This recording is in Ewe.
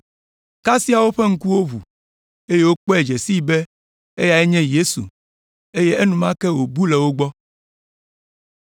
Kasia, woƒe ŋkuwo ʋu, eye wokpɔe dze sii be eyae nye Yesu, eye enumake wòbu le wo gbɔ.